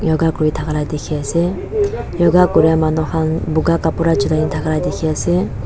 yoga kurithaka la dikhiase yoga kura manu khan buka kapra chulai thaka dikhiase.